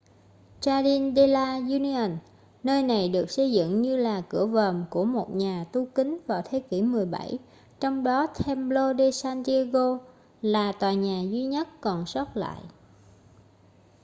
jardín de la unión nơi này được xây dựng như là cửa vòm của một nhà tu kín vào thế kỷ 17 trong đó templo de san diego là tòa nhà duy nhất còn sót lại